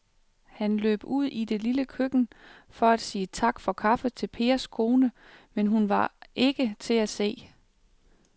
Han løb ud i det lille køkken for at sige tak for kaffe til Pers kone, men hun var ikke til at se.